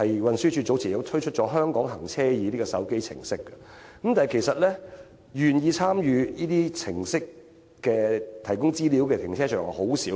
運輸署早前亦推出了"香港行車易"手機程式，但願意提供資料參與這類程式的停車場，其實甚少。